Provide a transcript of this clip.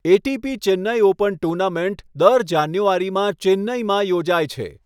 ATP Chennai open tournament દર જાન્યુઆરીમાં ચેન્નાઈમાં યોજાય છે.